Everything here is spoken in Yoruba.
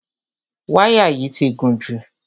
Wáyà yìí ti gùn jù.